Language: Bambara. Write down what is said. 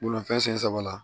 Bolimafɛn sen saba la